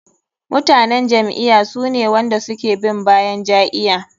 Mutanen jam'iya sune wanda suke bin bayan ja'iya.